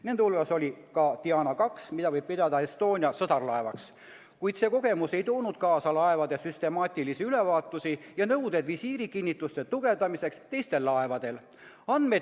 Nende hulgas oli ka DIANA II, mida võib pidada ESTONIA sõsarlaevaks, kuid see kogemus ei toonud kaasa laevade süstemaatilisi ülevaatusi ja nõudeid visiirikinnituste tugevdamiseks teistel laevadel.